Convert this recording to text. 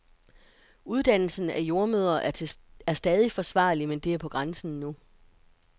Uddannelsen af jordemødre er stadig forsvarlig, men det er på grænsen nu.